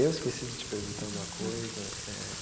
Eu esqueci de te perguntar uma coisa, é.